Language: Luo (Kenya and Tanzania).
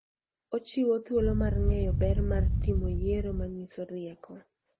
Ochiwo thuolo mar ng'eyo ber mar timo yiero manyiso rieko.